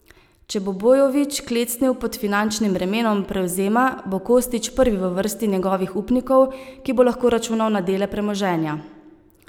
Če bo Bojović klecnil pod finančnim bremenom prevzema, bo Kostić prvi v vrsti njegovih upnikov, ki bo lahko računal na dele premoženja.